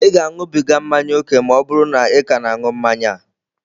Ị ga-aṅụbiga mmanya ókè ma ọ bụrụ na ị ka na-aṅụ mmanya a.